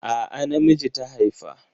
A'a na miji ta haifa.